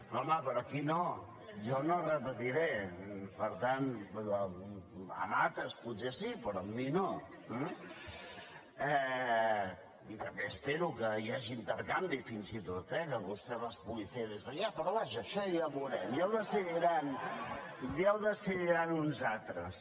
home però aquí no jo no repetiré per tant amb altres potser sí però amb mi no eh i també espero que hi hagi intercanvi fins i tot eh que vostè les puguin fer des d’allà però vaja això ja ho veurem ja ho decidiran uns altres